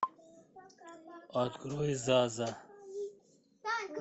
открой заза